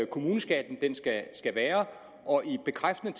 kommuneskatten skal være og i bekræftende